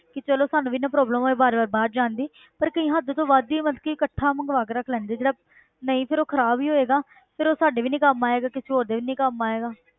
ਕਿ ਚਲੋ ਸਾਨੂੰ ਵੀ ਨਾ problem ਹੋਏ ਵਾਰ ਵਾਰ ਬਾਹਰ ਜਾਣ ਦੀ ਪਰ ਕਈ ਹੱਦ ਤੋਂ ਵੱਧ ਹੀ ਮਤਲਬ ਕਿ ਇਕੱਠਾ ਮੰਗਵਾ ਕੇ ਰੱਖ ਲੈਂਦੇ ਆ ਜਿਹੜਾ ਨਹੀਂ ਫਿਰ ਉਹ ਖ਼ਰਾਬ ਹੀ ਹੋਏਗਾ ਫਿਰ ਉਹ ਸਾਡੇ ਵੀ ਨੀ ਕੰਮ ਆਏਗਾ, ਕਿਸੇ ਹੋਰ ਦੇ ਵੀ ਨੀ ਕੰਮ ਆਏਗਾ।